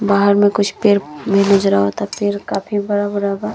बाहर मे कुछ पेड़ भी नज़र आवता पेड़ काफी बड़ा बड़ा बा।